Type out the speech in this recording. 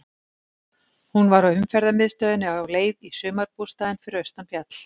Hún var á umferðamiðstöðinni á leið í sumarbústaðinn fyrir austan fjall.